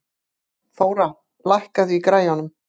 Þóra, lækkaðu í græjunum.